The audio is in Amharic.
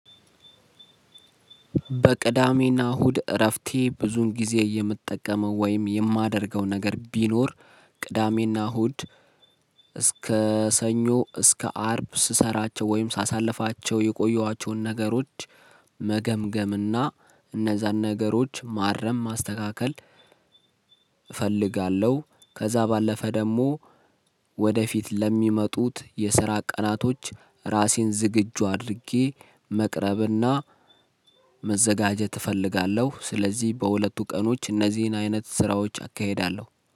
በቅዳሜና እሁድ እረፍቴ ብዙውን ጊዜ የምጠቀመው ወይም የማደርገው ነገር ቢኖር ቅዳሜና እሁድ እስከ ሰኞ እስከ አርብ ስሰራቸው ወይም ሳሳልፋቸው የቆየኋቸውን ነገሮች መ መገምገም እና እነዛን ነገሮች ማረም ማስተካከል እፈልጋለሁ። ከዛ ባለፈ ደግሞ ወደፊት ለሚመጡት የስራ ቀናቶች ራሴን ዝግጁ አድርጌ መቅረብና መ መዘጋጀት እፈልጋለሁ። ስለዚህ በሁለቱ ቀኖች እነዚህን አይነት ስራዎች አካሄዳለሁ።